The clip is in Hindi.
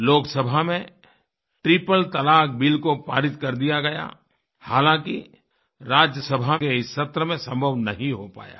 लोकसभा में ट्रिपल तलाक़ बिल को पारित कर दिया गया हालाँकि राज्यसभा के इस सत्र में संभव नहीं हो पाया है